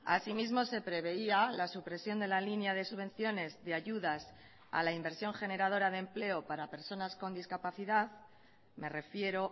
asimismo se preveía la supresión de la línea de subvenciones de ayudas a la inversión generadora de empleo para personas con discapacidad me refiero